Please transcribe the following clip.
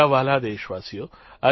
મારા વ્હાલા દેશવાસીઓ